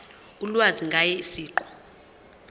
ulwazi ngaye siqu